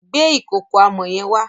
Gbe ìkòkò amọ̀ yẹn wá.